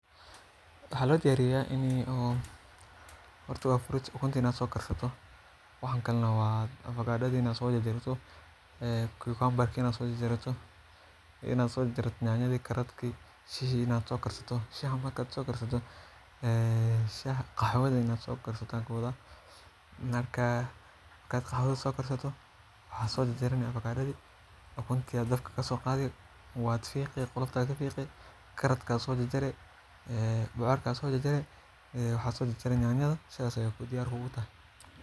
Waxaa ladiyariya ini horta waa fruit ukunta ini so diyarsato waxan kare waa afakadadhi ina so jar jarato nyanyadi karadki shahi marka sokarsato qaxwadha ina so karsata waa so jar jarani nyanyadhi ukunti aya dab kaso qadhi qolofta aya kafiqi waxaa so jar jari nyanyada sas ayey diyar kutahay.